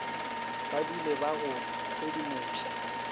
ba dule ba go sedimoša